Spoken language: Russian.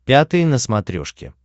пятый на смотрешке